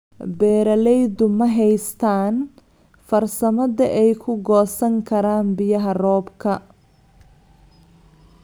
Beeraleydu ma haystaan ??farsamada ay ku goosan karaan biyaha roobka.